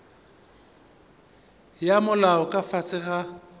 ya molao ka fase ga